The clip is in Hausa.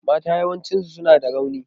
Mata yawanci suna da rauni.